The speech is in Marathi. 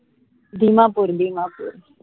दिमापूर दिमापूर